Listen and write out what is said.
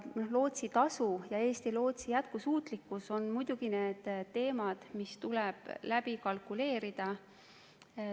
Lootsitasu ja Eesti Lootsi jätkusuutlikkus on muidugi teemad, mis tuleb läbi kalkuleerida.